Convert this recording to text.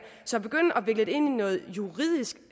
så at begynde at vikle det ind i noget juridisk